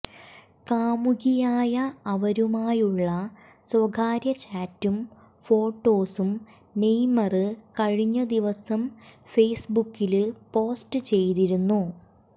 കാമുകിയായ അവരുമായുള്ള സ്വകാര്യചാറ്റും ഫോട്ടോസും നെയ്മര് കഴിഞ്ഞ ദിവസം ഫേസ്ബുക്കില് പോസ്റ്റ് ചെയ്തിരുന്നു